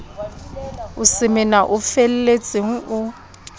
o semena o felletseng o